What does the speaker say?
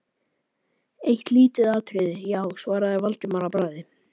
Eitt lítið atriði, já- svaraði Valdimar að bragði.